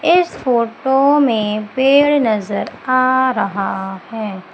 इस फोटो में पेड़ नजर आ रहा है।